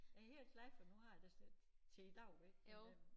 Jeg helt glad for nu har jeg da sådan lidt til i dag ik men øh